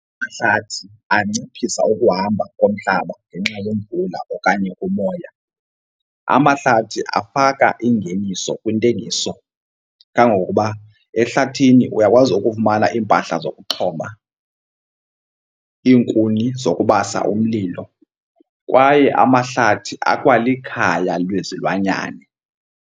Amahlathi anciphisa ukuhamba komhlaba ngenxa yemvula okanye kumoya. Amahlathi afaka ingeniso kwintengiso kangangokuba ehlathini uyakwazi ukufumana iimpahla zokuxhoma, iinkuni zokubasa umlilo kwaye amahlathi akwalikhaya lwezilwanyane.